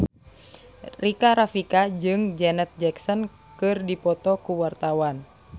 Rika Rafika jeung Janet Jackson keur dipoto ku wartawan